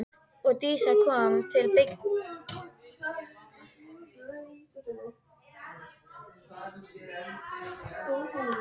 Og Dísa kom til byggða þegar Dalakofinn brann.